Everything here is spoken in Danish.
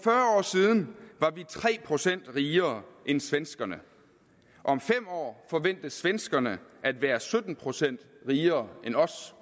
siden var vi tre procent rigere end svenskerne om fem år forventes svenskerne at være sytten procent rigere end os